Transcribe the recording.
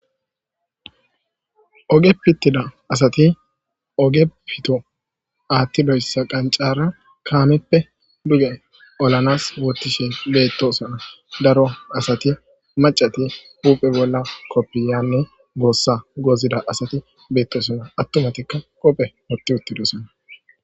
Oge pittida asati oge pito aathtidoyssa qancara kaameppe duge olanas wottishin beettoosana daro asati macati puphe bolla koppiyanne boossa gozida asati beettosona attumatikka qophe woti uttidosana